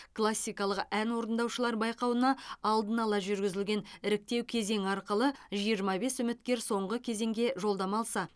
классикалық ән орындаушылар байқауына алдын ала жүргізілген іріктеу кезеңі арқылы жиырма бес үміткер соңғы кезеңге жолдама алса